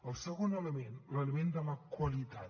el segon element l’element de la qualitat